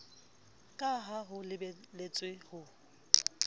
ka ha ho lebeletswe ho